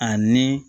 Ani